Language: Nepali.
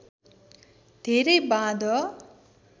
धेरै बाँध